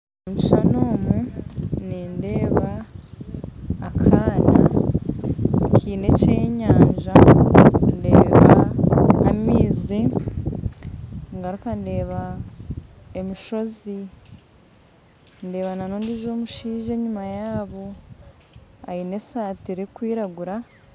Omukishushani omu nindeeba akaana Kiine eky'enyanja ndeeba amaizi ngaruka ndeeba emishozi ndeeba n'ondiijo omushaija enyuma yaabo aine esaati erikwiragura.